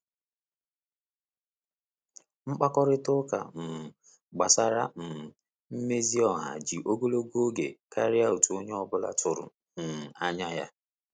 Mkpakorịta ụka um gbasara um mmezi ezi ọha ji ogologo oge karịa otu onye ọ bụla tụrụ um anya ya.